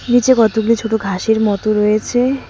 নীচে কতগুলি ছোট ঘাসের মতো রয়েছে।